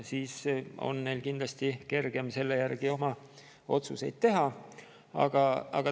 Siis on neil kindlasti kergem selle järgi otsuseid teha.